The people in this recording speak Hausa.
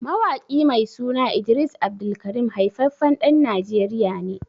Mawaƙi mai suna Idris AbdulKareem haifaffen ɗan najeriya ne